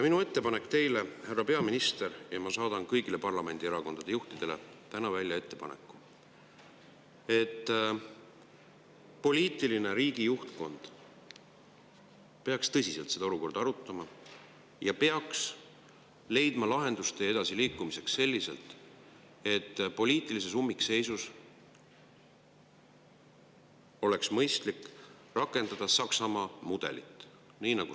Minu ettepanek teile, härra peaminister, on see, ja ma saadan ka kõigile parlamendierakondade juhtidele täna välja selle ettepaneku, et riigi poliitiline juhtkond peaks tõsiselt seda olukorda arutama ja peaks edasi liikumiseks lahendusteed otsides, et poliitilises ummikseisus oleks mõistlik rakendada Saksamaa mudelit.